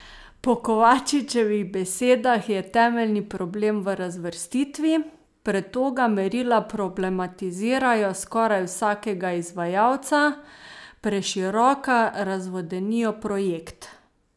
Po Kovačičevih besedah je temeljni problem v razvrstitvi: "pretoga merila problematizirajo skoraj vsakega izvajalca, preširoka razvodenijo projekt".